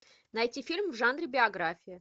найти фильм в жанре биография